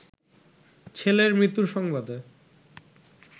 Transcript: ছেলের মৃত্যুর সংবাদে